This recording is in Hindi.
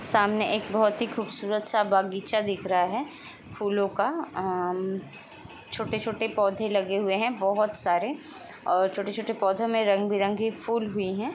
सामने एक बहोत ही खूबसूरत-सा बगीचा दिख रहा है फूलों का। अम्म- छोटे-छोटे पौधे लगे हुए है बहोत सारे और छोटे-छोटे पौधो में रंग-बिरंगे फूल भी है।